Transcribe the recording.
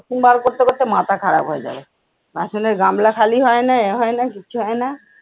বাসন বার করতে করতে মাথা খারাপ হয়ে যাবে। বাসনের গামলা খালি হয় না এ হয় না, কিচ্ছু হয় না।